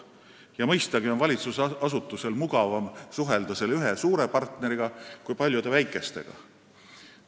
Ja mõistagi on valitsusasutusel mugavam suhelda ühe suure partneriga kui paljude väikestega.